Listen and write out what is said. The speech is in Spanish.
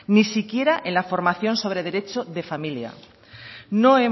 ni siquiera en la formación sobre derecho de familia